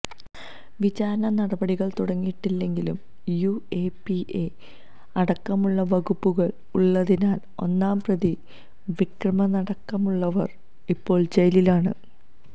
വിചാരണ നടപടികൾ തുടങ്ങിയിട്ടില്ലെങ്കിലും യുഎപിഎ അടക്കമുള്ള വകുപ്പുകൾ ഉള്ളതിനാൽ ഒന്നാം പ്രതി വിക്രമനടക്കമുള്ളവർ ഇപ്പോഴും ജയിലിലാണ്